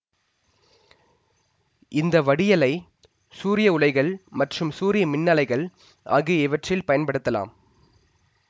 இந்த வடியலை சூரிய உலைகள் மற்றும் சூரிய மின்னாலைகள் ஆகிய இவற்றில் பயன்படுத்தலாம்